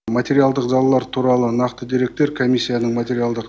материалдық залалар туралы нақты деректер комиссияның материалдық